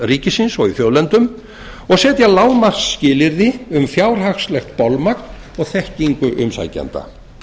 ríkisins og í þjóðlendum og setja lágmarksskilyrði um fjárhagslegt bolmagn og þekkingu umsækjenda